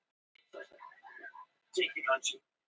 Því miður er lífið ekki alltaf auðsótt fyrir þess háttar fólk.